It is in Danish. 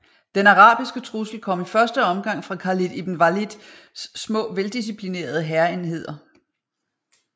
Den arabiske trussel kom i første omgang fra Khalid ibn Walids små veldisciplinerede hærenheder